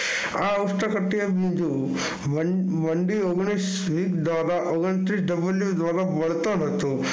હું જોયું ઓગણત્રીસ દ્વારા